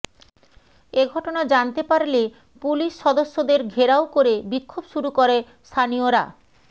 এ ঘটনা জানতে পারলে পুলিশ সদস্যদের ঘেরাও করে বিক্ষোভ শুরু করে স্থানীয়রা